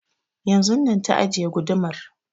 Yanzun na ta ajiye gudumar